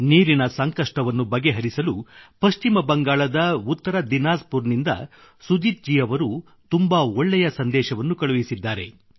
ನೀರಿನ ಸಂಕಷ್ಟವನ್ನು ಬಗೆಹರಿಸಲು ಪಶ್ಚಿಮ ಬಂಗಾಳದ ಉತ್ತರ ದೀನಾಜ್ ಪುರ್ ನಿಂದ ಸುಜೀತ್ ಜಿ ಅವರು ತುಂಬಾ ಒಳ್ಳೆಯ ಸಂದೇಶವನ್ನು ಕಳುಹಿಸಿದ್ದಾರೆ